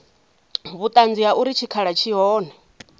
vhuṱanzi ha uri tshikhala tshi hone